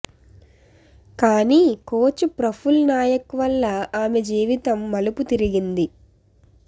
కానీ కోచ్ ప్రఫుల్ నాయక్ వల్ల ఆమె జీవితం మలుపు తిరిగింది